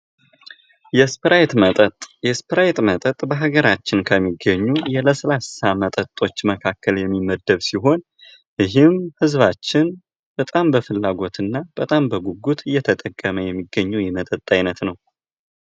የስፕራይት መጠጥ ።የስፕራይት መጠጥ በሀገራችን ከሚገኙ የስላሳ መጠጦች መካከል የሚመደብ ሲሆን ይህም ህዝባችን በጣም በፍላጎት እና በጣም በጉጉት እየተጠቀመ የሚገኘው የመጠጥ አይነት ነው።